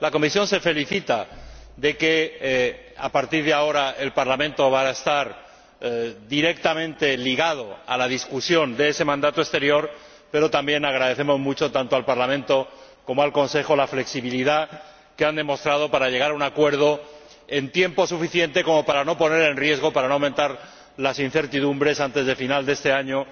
La Comisión manifiesta su satisfacción por que, a partir de ahora, el Parlamento vaya a estar directamente ligado a la discusión de ese mandato exterior, pero también agradecemos mucho, tanto al Parlamento como al Consejo, la flexibilidad que han demostrado para llegar a un acuerdo con tiempo suficiente para no poner en riesgo ni aumentar las incertidumbres antes del final de este año